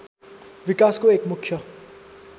विकासको एक मुख्य